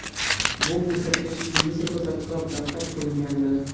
Bu ko‘rsatkich Ginnes rekordlar kitobida qayd qilingandi.